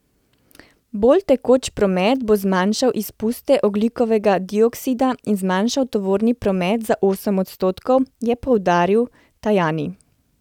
Bolj tekoč promet bo zmanjšal izpuste ogljikovega dioksida in zmanjšal tovorni promet za osem odstotkov, je poudaril Tajani.